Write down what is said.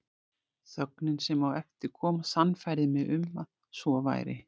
Þögnin sem á eftir kom sannfærði mig um að svo væri.